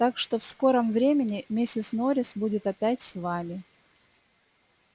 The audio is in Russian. так что в скором времени миссис норрис будет опять с вами